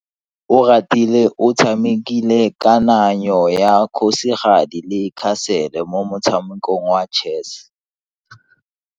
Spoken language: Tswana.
Oratile o tshamekile kananyo ya kgosigadi le khasele mo motshamekong wa chess.